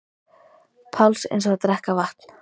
Páls eins og að drekka vatn.